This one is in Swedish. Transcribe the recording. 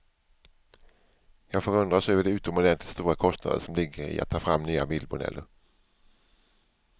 Jag förundras över de utomordentligt stora kostnader som ligger i att ta fram nya bilmodeller.